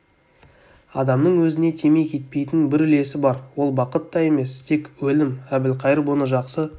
адамның өзіне тимей кетпейтін бір үлесі бар ол бақыт та емес тек өлім әбілқайыр бұны жақсы